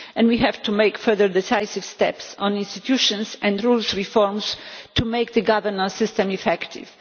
We have to make further decisive steps on the institutions and rule reforms to make the governance system effective.